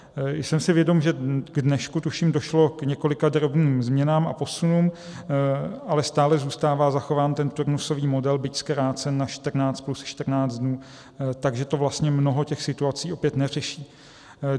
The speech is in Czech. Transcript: Jsem si vědom, že k dnešku, tuším, došlo k několika drobným změnám a posunům, ale stále zůstává zachován ten turnusový model, byť zkrácen na 14 plus 14 dnů, takže to vlastně mnoho těch situací opět neřeší.